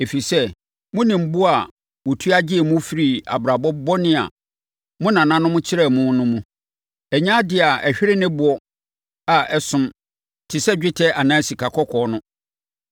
Ɛfiri sɛ, monim bo a wɔtua de gyee mo firii abrabɔ bɔne a mo nananom kyerɛɛ mo no mu. Ɛnyɛ adeɛ a ɛhwere ne boɔ a ɛsom te sɛ dwetɛ anaa sikakɔkɔɔ no.